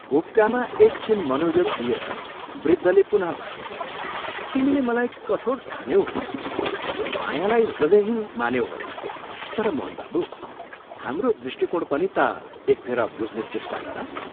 हुक्कामा एक छिन मनोयोग दिएर वृद्धले पुनः भने, "तिमीले मलाई कठोर ठान्यौ होला, मायालाई हृदयहीन मान्यौ होला तर मोहन बाबू, हाम्रो दृष्टिकोण पनि ता एकफेर बुझ्ने चेष्टा गर।